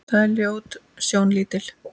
Það er ljót sjón lítil.